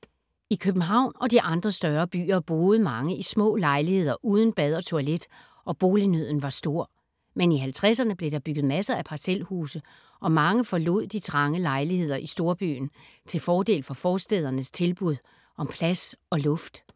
I København og de andre større byer boede mange i små lejligheder uden bad og toilet, og bolignøden var stor. Men i 50’erne blev der bygget masser af parcelhuse og mange forlod de trange lejligheder i storbyen til fordel for forstædernes tilbud om plads og luft.